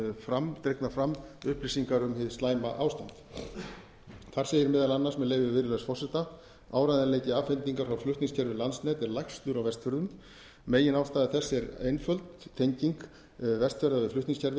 og dregnar fram upplýsingar um hið slæma ástand þar segir meðal annars með leyfi virðulegs forseta áreiðanleiki afhendingar frá flutningskerfi landsnets er lægstur á vestfjörðum meginástæða þess er einföld tenging vestfjarða við flutningskerfið